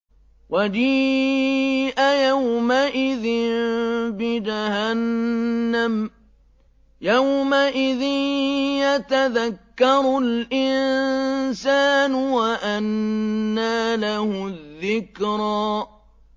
وَجِيءَ يَوْمَئِذٍ بِجَهَنَّمَ ۚ يَوْمَئِذٍ يَتَذَكَّرُ الْإِنسَانُ وَأَنَّىٰ لَهُ الذِّكْرَىٰ